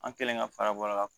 An kɛlen ka fara bɔlɔ la